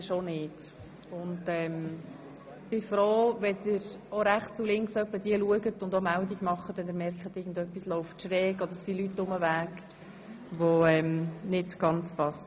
Ich bin froh, wenn Sie sich hin und wieder nach rechts und links wenden und Meldung machen, wenn Sie feststellen, dass Leute unterwegs sind, die nicht ganz hierher passen.